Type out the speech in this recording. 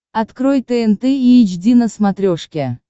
открой тнт эйч ди на смотрешке